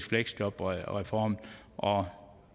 fleksjobreformen og